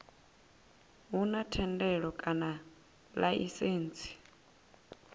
hu na thendelo kana laisentsi